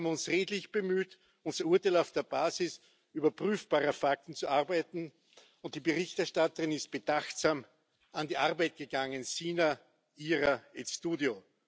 Wir haben uns redlich bemüht, unser Urteil auf der Basis überprüfbarer Fakten zu erarbeiten und die Berichterstatterin ist bedachtsam an die Arbeit gegangen, sine ira et studio